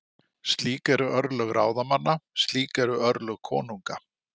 Slík eru örlög ráðamanna- slík eru örlög konunga.